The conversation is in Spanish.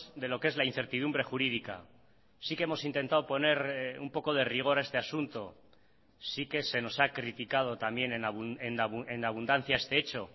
de lo qué es la incertidumbre jurídica sí que hemos intentado poner un poco de rigor a este asunto sí que se nos ha criticado también en abundancia este hecho